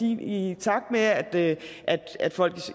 i takt med at at folk